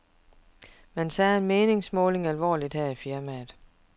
Man tager en meningsmåling alvorligt her i firmaet.